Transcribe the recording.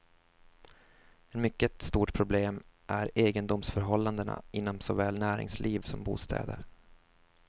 Ett mycket stort problem är egendomsförhållandena inom såväl näringsliv som bostäder.